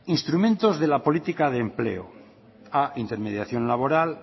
instrumentos de la política de empleo a intermediación laboral